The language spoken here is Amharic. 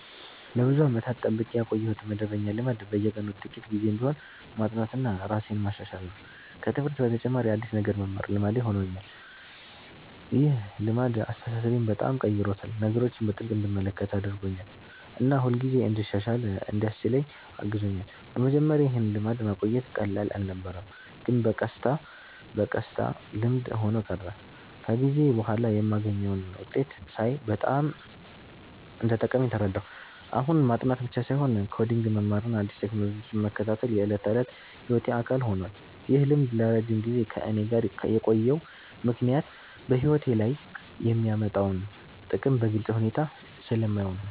ለብዙ ዓመታት የጠብቄ ያቆየሁት መደበኛ ልማድ በየቀኑ ጥቂት ጊዜ ቢሆንም ማጥናትና ራሴን ማሻሻል ነው። ከትምህርት በተጨማሪ አዲስ ነገር መማር ልማዴ ሆኖኛል። ይህ ልማድ አስተሳሰቤን በጣም ቀይሮታል፤ ነገሮችን በጥልቅ እንድመለከት አድርጎኛል እና ሁልጊዜ እንድሻሻል እንዲያስችለኝ አግዞኛል። በመጀመሪያ ይህን ልማድ ማቆየት ቀላል አልነበረም፣ ግን በቀስታ በቀስታ ልምድ ሆኖ ቀረ። ከጊዜ በኋላ የማገኘውን ውጤት ሳይ በጣም እንደጠቀመኝ ተረዳሁ። አሁን ማጥናት ብቻ ሳይሆን ኮዲንግ መማርና አዲስ ቴክኖሎጂዎችን መከታተል የዕለት ተዕለት ሕይወቴ አካል ሆኗል። ይህ ልማድ ለረጅም ጊዜ ከእኔ ጋር የቆየው ምክንያት በሕይወቴ ላይ የሚያመጣውን ጥቅም በግልጽ ሁኔታ ስለማየው ነው።